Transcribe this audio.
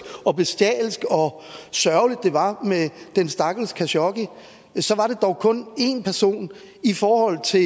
og bestialsk og sørgeligt det var med den stakkels khashoggi så var det dog kun én person i forhold til